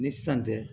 Ni san tɛ